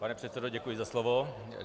Pane předsedo, děkuji za slovo.